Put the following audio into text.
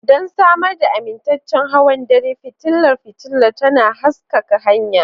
Don samar da amintaccen hawan dare, fitilar fitilar tana haskaka hanya.